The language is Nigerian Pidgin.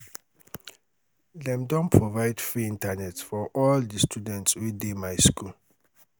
dem don um provide free internet for all um di students wey dey my um um skool